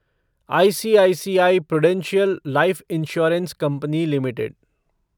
ICICI prudential life insurance company limited